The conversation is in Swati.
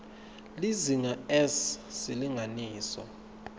lizinga s silinganiso